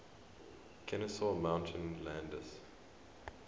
kenesaw mountain landis